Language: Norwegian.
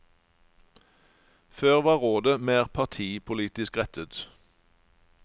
Før var rådet mer partipolitisk rettet.